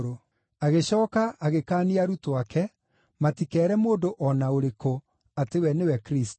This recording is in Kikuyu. Agĩcooka agĩkaania arutwo ake matikeere mũndũ o na ũrĩkũ atĩ we nĩwe Kristũ.